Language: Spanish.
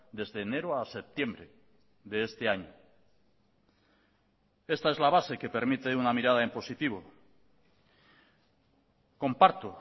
desde enero a septiembre de este año esta es la base que permite una mirada en positivo comparto